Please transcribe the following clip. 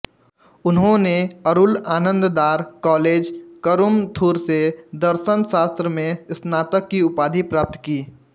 उन्होंने अरुल आनंदार कॉलेज करुमथुर से दर्शनशास्त्र में स्नातक की उपाधि प्राप्त की